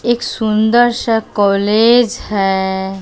एक सुंदर सा कॉलेज है।